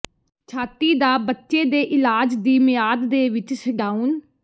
ਛਾਤੀ ਦਾ ਬੱਚੇ ਦੇ ਇਲਾਜ ਦੀ ਮਿਆਦ ਦੇ ਵਿੱਚ ਛਡਾਉਣ